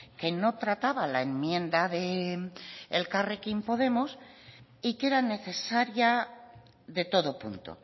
que no trataba la enmienda de elkarrekin podemos y que era necesaria de todo punto